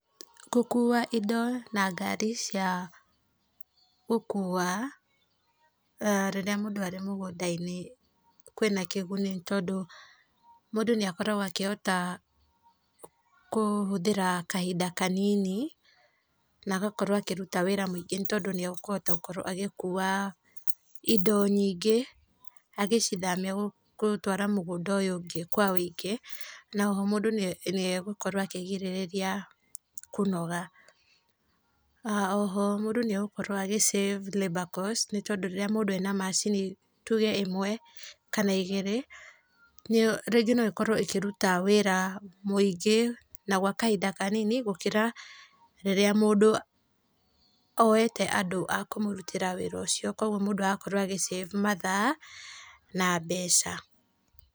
Gũkua indo na ngari cia gũkua rĩrĩa mũndũ arĩ mũgũnda-inĩ kwĩna kĩguni nĩ tondũ mũndũ nĩ akoragwo akĩhota kũhũthĩra kahinda kanini na agakorwo akĩruta wĩra mũingĩ nĩ tondũ nĩ akũhota gũkorwo agĩkua indo nyingĩ agĩcithamia mũgũnda ũyũ ũngĩ kwa wũingĩ na oho mũndũ nĩ egũkorwo akĩrigĩrĩria kũnoga, oho mũndũ nĩ agũkorwo agĩ save labour cost nĩ tondũ rĩrĩa mũndũ ena macini rĩngĩ tuge ĩmwe kana igĩrĩ rĩngĩ no ĩkorwo ĩkĩruta wĩra mĩingĩ na gwa kahinda kanini gũkĩra rĩrĩa mũndũ oete andũ a kũmũrutĩra wĩra ũcio kwoguo mũndũ agakorwo agĩ save mathaa na mbeca.